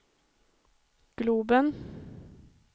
globen